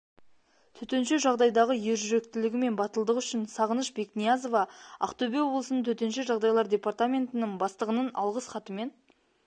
төтенше жағдайдағы ержүректілігі мен батылдығы үшін спғыныш бекниязова ақтөбе облысының төтенше жағдайлар департаментінің бастығының алғыс хатымен